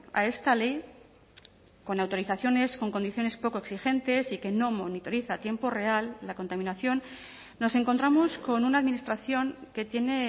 a esta ley con autorizaciones con condiciones poco exigentes y que no monitoriza a tiempo real la contaminación nos encontramos con una administración que tiene